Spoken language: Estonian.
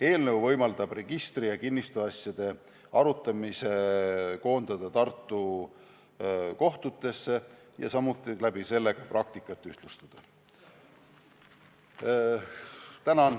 Eelnõu võimaldab registri ja kinnistusasjade arutamise koondada Tartu kohtutesse ja sel moel ka praktikat ühtlustada.